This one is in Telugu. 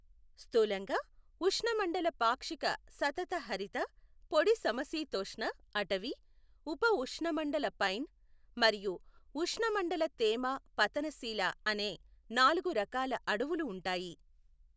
స్థూలంగా, ఉష్ణమండల పాక్షిక సతత హరిత, పొడి సమశీతోష్ణ అటవీ, ఉప ఉష్ణమండల పైన్, మరియు ఉష్ణమండల తేమ పతనశీల అనే నాలుగు రకాల అడవులు ఉంటాయి.